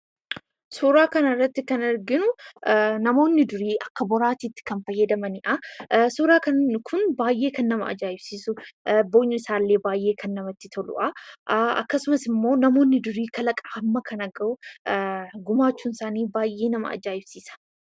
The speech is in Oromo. Suuraa kanarratti kan arginu namoonni durii akka boraatiitti kan fayyadamanidha. Suuraan kun baay'ee kan nama ajaa'ibsiisu boolli isaallee kan baay'ee namatti toludha. Akkasumas immoo namoonni durii kalaqa hamma kana gahu gumaachuun isaanii baay'ee nama ajaa'ibsiisa.